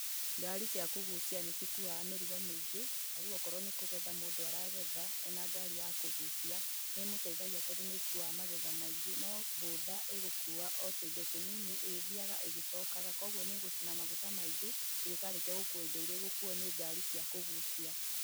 Ngari cia kũgucia nĩ cikuaga mĩrigo mĩingĩ. Ta rĩu okorwo nĩ kũgetha mũndũ aragetha, ena ngari ya kũgucia, nĩ ĩmũteithagia tondũ nĩ ĩkuaga magetha maingĩ.no boda ĩgũkuua o tũindo tũnini ĩgĩthiaga ĩgĩcookaga. Kwoguo nĩ ĩgũcina maguta maingĩ ĩgĩkarĩkia gũkua indo iria igũkuuo nĩ ngari cia kũgucia.